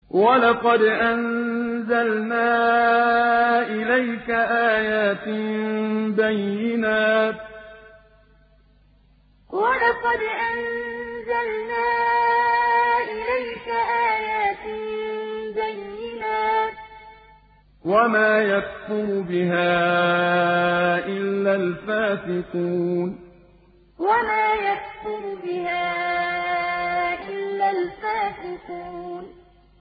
وَلَقَدْ أَنزَلْنَا إِلَيْكَ آيَاتٍ بَيِّنَاتٍ ۖ وَمَا يَكْفُرُ بِهَا إِلَّا الْفَاسِقُونَ وَلَقَدْ أَنزَلْنَا إِلَيْكَ آيَاتٍ بَيِّنَاتٍ ۖ وَمَا يَكْفُرُ بِهَا إِلَّا الْفَاسِقُونَ